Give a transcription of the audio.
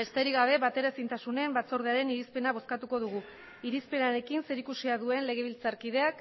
besterik gabe bateraezintasunen batzordearen irizpena bozkatuko dugu irizpenarekin zerikusia duen legebiltzarkideak